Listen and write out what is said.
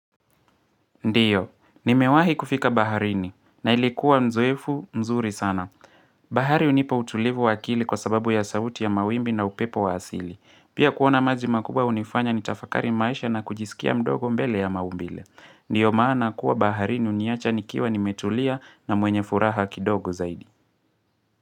Ndiyo, nimewahi kufika baharini, na ilikuwa nzoefu mzuri sana. Bahari hunipa utulivu wa akili kwa sababu ya sauti ya mawimbi na upepo wa asili. Pia kuona maji makubwa hunifanya nitafakari maisha na kujisikia mdogo mbele ya maumbile. Ndiyo maana kuwa baharini huniacha nikiwa nimetulia na mwenye furaha kidogo zaidi.